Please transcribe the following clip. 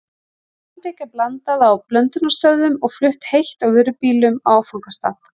Malbik er blandað á blöndunarstöðvum og flutt heitt á vörubílum á áfangastað.